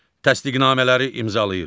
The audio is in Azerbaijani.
Təsdiqnamələri imzalayır.